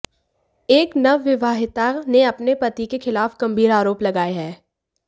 एक नवविवाहिता ने अपने पति के खिलाफ गंभीर आरोप लगाए हैं